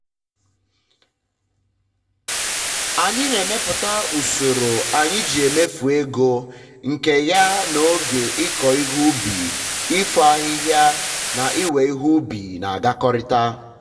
anyị na emepụta usoro anyị um ji emefu ego nke um ya na oge ikọ ihe ubi ịfo ahịhịa na iwe ihe ubi na agakọrịta